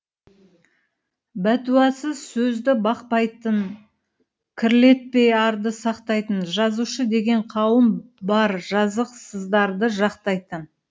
бәтуасыз сөзді бақпайтын кірлетпей арды сақтайтын жазушы деген қауым баржазықсыздарды жақтайтын